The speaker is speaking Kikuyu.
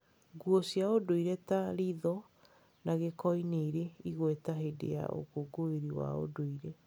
Nguo cia ũndũire ta rĩtho na gĩkoi nĩ irĩ igweta hĩndĩ ya ũkũngũĩri wa ũndũire.